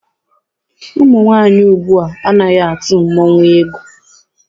Ụmụ nwaanyị ugbua anaghị atụ mmọnwụ egwù.